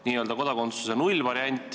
Jutt on kodakondsuse nullvariandist.